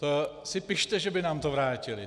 To si pište, že by nám to vrátili.